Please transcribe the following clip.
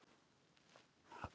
Grásteini